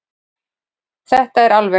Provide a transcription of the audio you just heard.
Þetta er alveg.